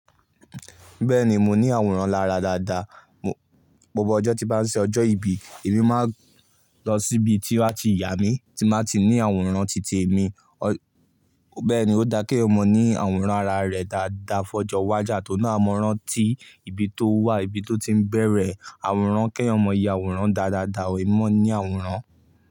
Bẹ́ẹ̀ni mo ní àwòrán lára dáadáa. Mo, gbogbo ọjọ́ tí bá ń ṣe ọjọ́ ìbí, èmi máa ń lọ síbi tí wọ́n a ti yà mí tí máa ti ní àwòrán titi èmi. Ọ, bẹ́ẹ̀ni ó dá k'éyan maa ní àwòrán ara rẹ̀ dáadáa fọjọ́ wájà at'oun naa a mọ ránti ibi tó wà, ibi tó ti ń bẹ̀rẹ̀ àwòrán. Kẹ́yọ̀mọ́ yẹ àwòrán dáadáa, ò í mọ ní àwòrán.